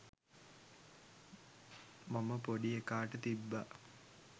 මම පොඩි එකාට තිබ්බා.